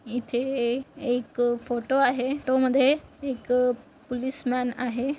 इथे एक फोटो आहे फोटो मध्ये एक पुलीसमॅन आहे.